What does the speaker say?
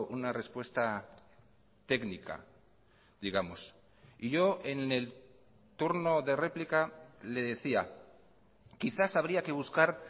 una respuesta técnica digamos y yo en el turno de réplica le decía quizás habría que buscar